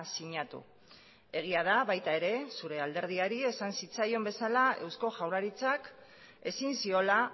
sinatu egia da baita ere zure alderdiari esan zitzaion bezala eusko jaurlaritzak ezin ziola